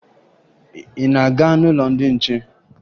Ị na-aga n'ụlọ ndị nche?